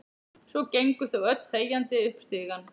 Svo gengu þau öll þegjandi upp stigann.